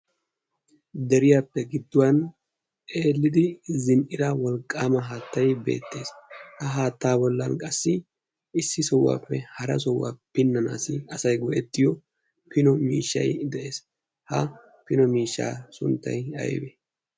deriyaappe gidduwan eelidi zin77ira wolqqaama haattai beettees. ha haattaa wollan qassi issi sohuwaappe hara sohuwaa pinnanaassi asai go7ettiyo pino miishshai de7ees. ha pino miishshaa sunttai aibe?